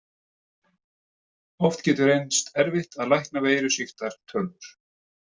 Oft getur reynst erfitt að lækna veirusýktar tölvur.